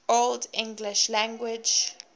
old english language